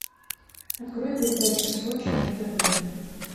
открой передачу сочи на тв